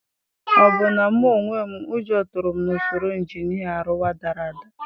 Ọbụna mụ onwe m, ụjọ tụrụ m na usoro injinia Ariwa dara ada.